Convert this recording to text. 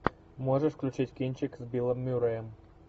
можешь включить кинчик с биллом мюрреем